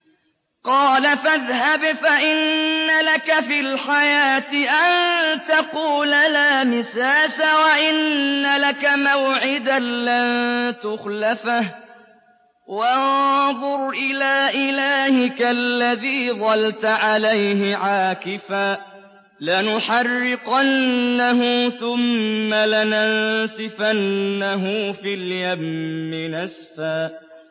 قَالَ فَاذْهَبْ فَإِنَّ لَكَ فِي الْحَيَاةِ أَن تَقُولَ لَا مِسَاسَ ۖ وَإِنَّ لَكَ مَوْعِدًا لَّن تُخْلَفَهُ ۖ وَانظُرْ إِلَىٰ إِلَٰهِكَ الَّذِي ظَلْتَ عَلَيْهِ عَاكِفًا ۖ لَّنُحَرِّقَنَّهُ ثُمَّ لَنَنسِفَنَّهُ فِي الْيَمِّ نَسْفًا